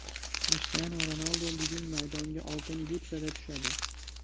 Krishtianu Ronaldu bugun maydonga Oltin butsada tushadi.